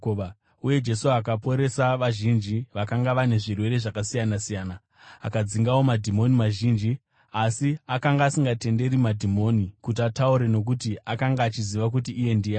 uye Jesu akaporesa vazhinji vakanga vane zvirwere zvakasiyana-siyana. Akadzingawo madhimoni mazhinji, asi akanga asingatenderi madhimoni kuti ataure nokuti akanga achiziva kuti iye ndiani.